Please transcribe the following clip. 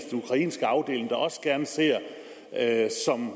ukrainske afdeling der også gerne ser at